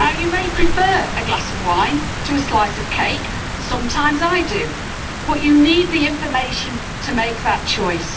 Now you may prefer a glass of wine to a slice of cake sometimes I do but you need the information to make that choice.